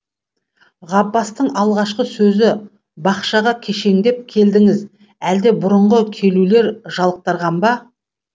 ғаббастың алғашқы сөзі бақшаға кешеңдеп келдіңіз әлде бұрынғы келулер жалықтырған ба